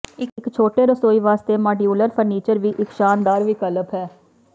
ਇੱਕ ਛੋਟੇ ਰਸੋਈ ਵਾਸਤੇ ਮਾਡਿਊਲਰ ਫਰਨੀਚਰ ਵੀ ਇੱਕ ਸ਼ਾਨਦਾਰ ਵਿਕਲਪ ਹੈ